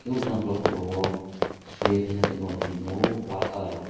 lok jang ke okolog oro chuye tesha tomna rok chung nogo wal colour.